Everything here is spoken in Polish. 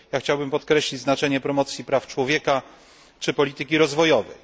Chciałbym podkreślić znaczenie promocji praw człowieka, czy polityki rozwojowej.